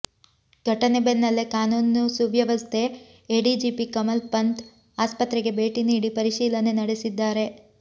ಘಟನೆ ಬೆನ್ನಲ್ಲೇ ಕಾನೂನು ಸುವ್ಯವಸ್ಥೆ ಎಡಿಜಿಪಿ ಕಮಲ್ ಪಂಥ್ ಆಸ್ಪತ್ರೆಗೆ ಭೇಟಿ ನೀಡಿ ಪರಿಶೀಲನೆ ನಡೆಸಿದ್ದಾರೆ